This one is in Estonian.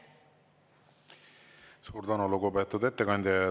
Suur tänu, lugupeetud ettekandja!